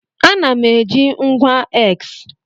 Ana m eji ngwa X.